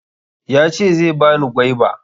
Yace zai bani gwaiba